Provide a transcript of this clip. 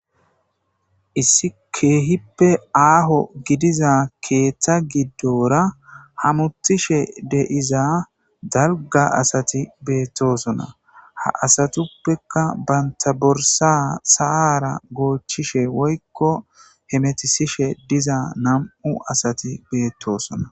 issi keehippe aaho gidiza keeththa giddora hamuthishe deiza dalga asati beettosona ha asatuppekka bantaborsa saara goochishe woykko hemetisishe diza nam7u asati beettosona